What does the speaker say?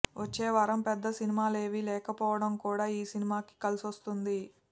వచ్చేవారం పెద్ద సినిమాలేవీ లేకపోవడం కూడా ఈ సినిమాకి కలిసొస్తుంది